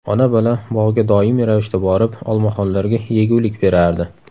Ona-bola bog‘ga doimiy ravishda borib, olmaxonlarga yegulik berardi.